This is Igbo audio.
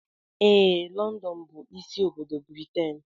Ee London bụ ịsị obodo Britain.